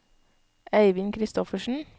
Eivind Kristoffersen